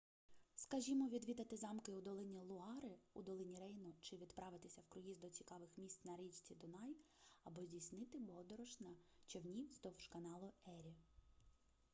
скажімо відвідати замки у долині луари у долині рейну чи відправитися в круїз до цікавих місць на річці дунай або здійснити подорож на човні вздовж каналу ері